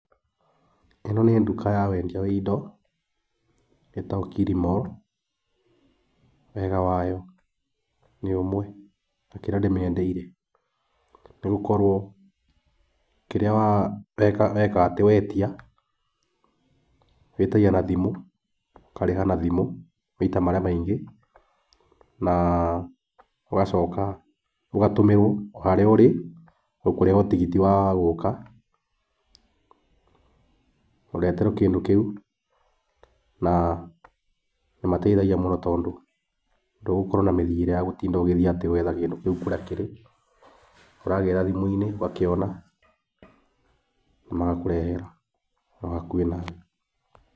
Ĩno nĩ nduka ya wendia wa indo, ĩtagũo Killimall, wega wayo nĩ ũmwe na kĩrĩa ndĩmĩendeire nĩgũkorũo kĩrĩa wekatĩ, wetia wĩtagia na thimũ, ũkarĩha na thimũ maita marĩa maingĩ, na ũgacoka ũgatũmĩrwo o harĩa ũrĩ, ũkũrĩha o tigiti wa gũka ũreherwo kĩndũ kĩu. Na nĩ mateithagia mũno tondũ, ndũgũkorwo na mĩthiĩre ya gũtinda ũgĩthiĩ gwetha kĩndũ kĩu kũrĩa kĩrĩ. Ũragĩra thimũ-inĩ, ũgakĩona magakũrehera hau hakuhĩ nawe.